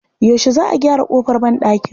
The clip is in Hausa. Yaushe Za a gyara ƙofar banɗakin?